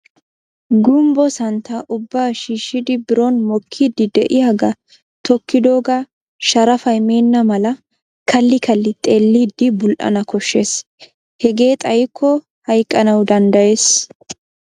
Gumbbo santtaa ubba shiishidi biron mokkiidi de'iyaaga tokkidoogaa sharafay meena malaa kalli kalli xeellidi bul""ana koshshees. hegee xaykko hayqqanaw danddayees.